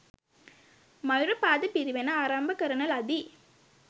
මයුරපාද පිරිවෙන ආරම්භ කරන ලදී.